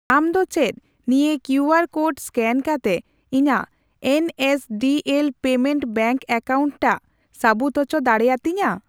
ᱟᱢ ᱫᱚ ᱪᱮᱫ ᱱᱤᱭᱟᱹ ᱠᱤᱭᱩ ᱟᱨ ᱠᱳᱰ ᱮᱥᱠᱮᱱ ᱠᱟᱛᱮ ᱤᱧᱟᱜ ᱮᱱᱮᱥᱰᱤᱮᱞ ᱯᱮᱢᱮᱱᱴᱥ ᱵᱮᱝᱠ ᱮᱠᱟᱣᱩᱱᱴ ᱴᱟᱜ ᱥᱟᱹᱵᱩᱫ ᱩᱪᱚ ᱫᱟᱲᱤᱭᱟᱹᱛᱤᱧᱟ ?